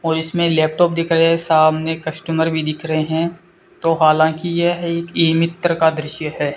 और इसमें लैपटॉप दिखा गया है सामने कस्टमर भी दिख रहे है तो हालांकि यह एक ई मित्र का दृश्य है।